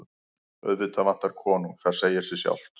Auðvitað vantar konung, það segir sig sjálft.